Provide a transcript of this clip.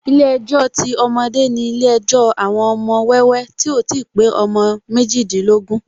Ilé ejò ti ọmọdé ni ilé ejò àwọn ọmọ wẹ́wẹ́ tí ò ti pé ọmọ méjìdínlógún